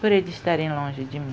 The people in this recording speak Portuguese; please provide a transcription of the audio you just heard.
Por eles estarem longe de mim.